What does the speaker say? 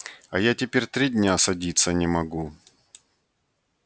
а я теперь три дня садиться не смогу